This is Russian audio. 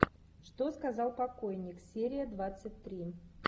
что сказал покойник серия двадцать три